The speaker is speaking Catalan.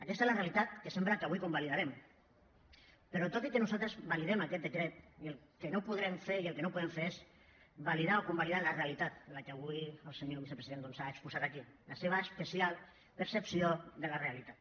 aquesta és la realitat que sembla que avui convalidarem però tot i que nosaltres validem aquest decret el que no podrem fer i el que no podem fer és validar o convalidar la realitat la que avui el senyor vicepresident doncs ha exposat aquí la seva especial percepció de la realitat